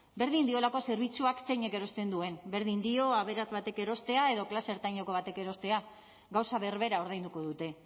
berdin diolako zerbitzuak zeinek erosten duen berdin dio aberats batek erostea edo klase ertaineko batek erostea gauza berbera ordainduko dute